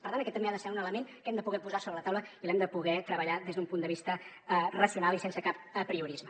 per tant aquest també ha de ser un element que hem de poder posar sobre la taula i l’hem de poder treballar des d’un punt de vista racional i sense cap apriorisme